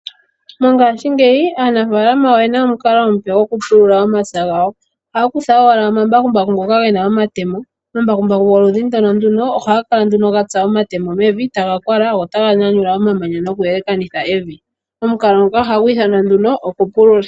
Mongaashingeyi aanafaalama oyena omukalo omupe gwokupulula omapya gawo. Ohaya kutha owala omambakumbaku ngono gena omatemo, omambakumbaku ngono goludhi ndono ohaga kala nduno gatsa omatemo mevi taga kwala go otaga nyanyula omamanya noku yelekanitha evi. Omukalo nguka ohagu ithanwa nduno okupulula.